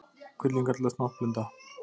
Kvillinn kallast náttblinda.